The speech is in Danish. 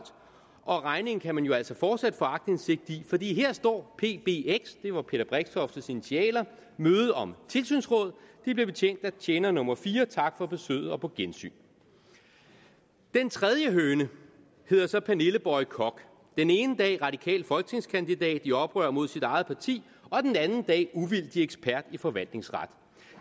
og regningen kan man jo altså fortsat få aktindsigt i her står pbx det var peter brixtoftes initialer møde om tilsynsråd de blev betjent af tjener nummer fire tak for besøget og på gensyn den tredje høne hedder så pernille boye koch den ene dag radikal folketingskandidat i oprør mod sit eget parti og den anden dag uvildig ekspert i forvaltningsret